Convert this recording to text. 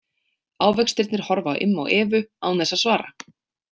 Ávextirnir horfa á Imma og Evu án þess að svara.